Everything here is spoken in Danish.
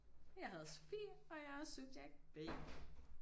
Og jeg hedder Sofie og jeg er subjekt B